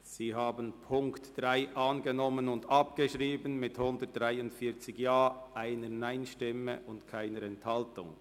Sie haben die Ziffer 3 angenommen und abgeschrieben mit 143 Ja-Stimmen gegen 1 Nein-Stimme bei keiner Enthaltung.